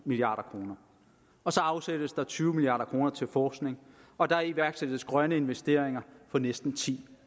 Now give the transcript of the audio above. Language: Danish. milliard kroner og så afsættes der tyve milliard kroner til forskning og der iværksættes grønne investeringer for næsten ti